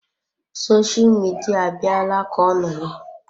Sosha midia abịala ka ọ nọrọ.